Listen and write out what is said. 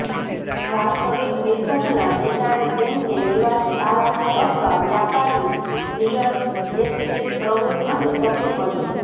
વાસ્તવિક મિલકતના વેચાણ જેમ કે નિવાસી આવાસો અથવા વ્યાપારી રિયલ એસ્ટેટ પ્રવેશ અને સભ્યપદ